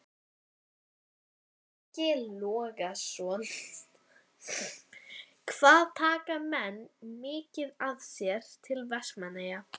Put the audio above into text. Breki Logason: Hvað taka menn mikið með sér til Vestmannaeyja?